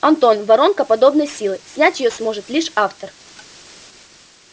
антон воронка подобной силы снять её сможет лишь автор